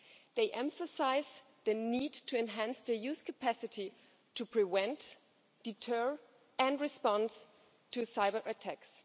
They emphasise the need to enhance the EU's capacity to prevent, deter and respond to cyberattacks.